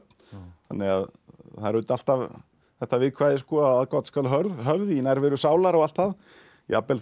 þannig að það er auðvitað alltaf þetta viðkvæði aðgát skal höfð höfð í nærveru sálar og allt það jafnvel þó